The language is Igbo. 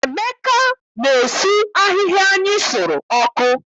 Emeka na-esu ahịhịa anyị sụrụ ọkụ.